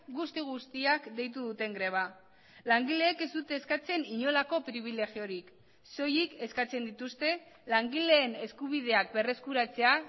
guzti guztiak deitu duten greba langileek ez dute eskatzen inolako pribilegiorik soilik eskatzen dituzte langileen eskubideak berreskuratzea